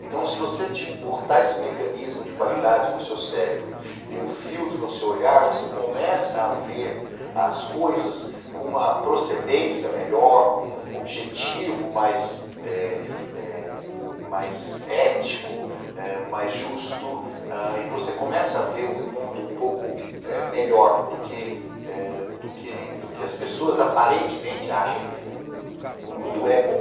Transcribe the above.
Então, se você botar esse mecanismo de qualidade no seu cérebro e um filtro no seu olhar, você começa a ver as coisas com uma procedência melhor, com um objetivo mais eh eh mais ético, eh mais justo, e você começa a ver o mundo um pouco eh melhor do que eh do que ele do que as pessoas aparentemente acham que ele é. O mundo é bom.